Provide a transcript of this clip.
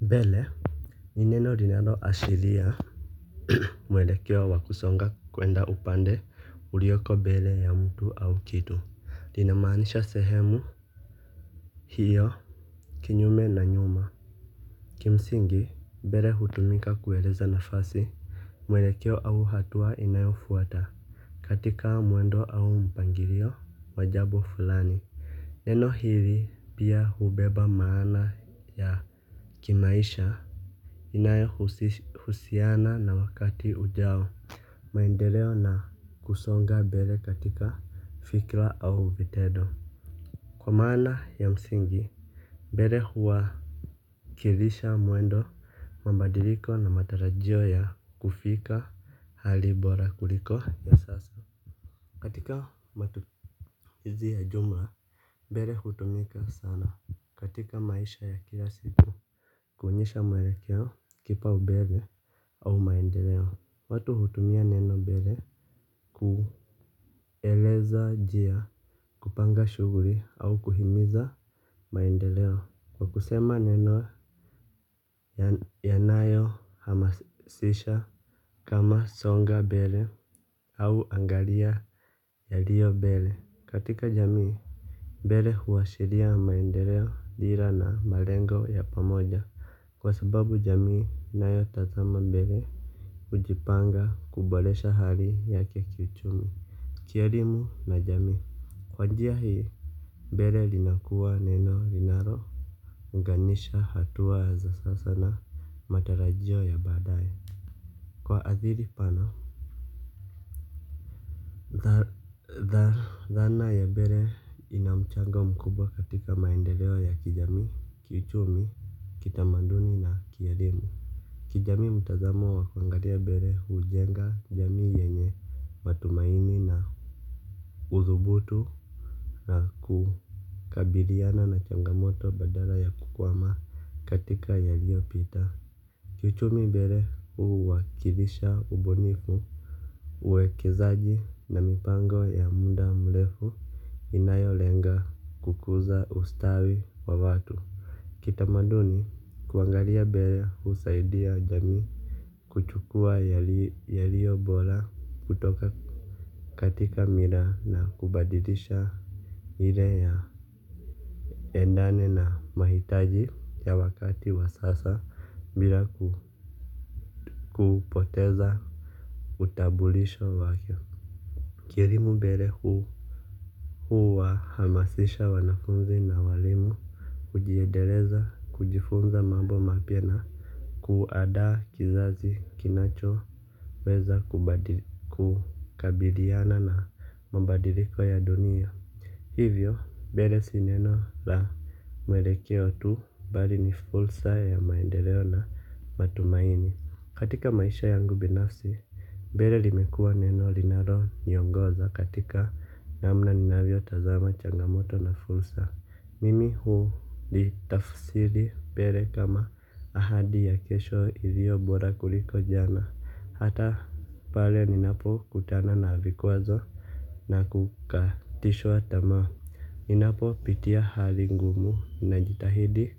Mbele. Ni neno linalo ashiria. Mwelekeo wa kusonga kwenda upande uliyoko mbele ya mtu au kitu lina maanisha sehemu. Hiyo kinyume na nyuma. Kimsingi mbele hutumika kueleza nafasi. Mwelekeo au hatua inayo fuata. Katika mwendo au mpangilio wa jambo fulani. Neno hili pia hubeba maana ya kimaisha inayohusiana na wakati ujao maendeleo na kusonga mbele katika fikra au vitendo kwa maana ya msingi mbele huwakilisha mwendo mabadiliko na matarajio ya kufika hali bora kuliko ya sasa katika matumizi ya jumla mbele hutumika sana katika maisha ya kila siku. Kuonyesha mwelekeo kipaombele au maendeleo watu hutumia neno mbele. Kueleza njia kupanga shughuli au kuhimiza maendeleo kwa kusema neno yanayo hamasisha kama songa mbele au angalia yaliyo mbele. Katika jamii mbele huashiria maendeleo dhira na malengo ya pamoja. Kwa sababu jamii inayo tazama mbele hujipanga kuboresha hali yake ya kiuchumi kielimu na jamii. Kwa njia hii, mbele linakuwa neno linalo unganisha hatua za sasa na matarajio ya baadaye. Kwa ajili pana, dhana ya mbele ina mchango mkubwa katika maendeleo ya kijamii, kiuchumi. Kitamaduni na kielimu. Kijamii mtazamo wa kuangalia mbele hujenga jamii yenye matumaini na udhubutu na ku kabiliana na changamoto badala ya kukwama katika yaliyopita. Kiuchumi mbele huwakilisha ubunifu. Uwekezaji na mipango ya muda mrefu inayolenga kukuza ustawi wa watu. Kitamaduni kuangalia mbele husaidia jamii. Kuchukua yaliyo bora kutoka katika mila na kubadilisha ile yaendane na mahitaji ya wakati wa sasa bila kupoteza utambulisho wake. Kielimu mbele hu huwahamasisha wanafunzi na waalimu kujiendeleza kujifunza mambo mapema kuandaa kizazi kinacho weza kubadili kukabiliana na mabadiliko ya dunia. Hivyo, mbele si neno la mwelekeo tu bali ni fursa ya maendeleo na matumaini. Katika maisha yangu binafsi, mbele limekuwa neno linalo niongoza katika namna ninavyo tazama changamoto na fursa. Mimi hulitafsiri mbele kama ahadi ya kesho iliyo bora kuliko jana. Hata pale ninapo kutana na vikwazo na kukatishwa tamaa ninapo pitia hali ngumu ninajitahidi